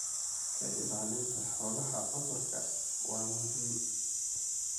Ka ilaalinta xoolaha cudurada waa muhiim.